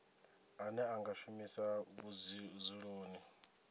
ane a nga shumiswa vhudzuloni